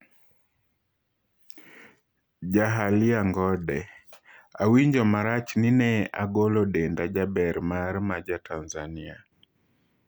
Jahalia Ngonde: Awinjo marach ni ne agolo denda jaber mara ma ja Tanzania